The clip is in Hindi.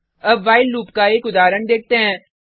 अब व्हाइल लूप का एक उदाहरण देखते हैं